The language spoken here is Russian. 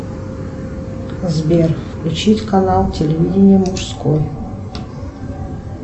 сбер включить канал телевидение мужской